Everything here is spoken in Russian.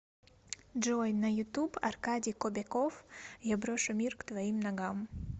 джой на ютуб аркадий кобяков я брошу мир к твоим ногам